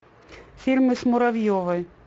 фильмы с муравьевой